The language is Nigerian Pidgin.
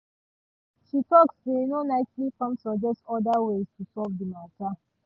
she talk say no nicely come suggest other ways to solve the matter